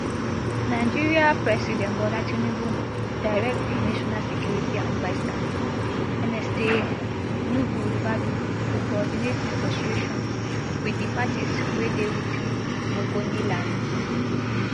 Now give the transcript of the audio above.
nigeria president bola tinubu direct di national security adviser nsa nuhu ribadu to coordinate negotiations wit di parties wey dey within ogoniland